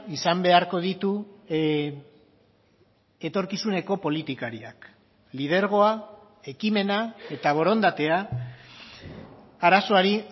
izan beharko ditu etorkizuneko politikariak lidergoa ekimena eta borondatea arazoari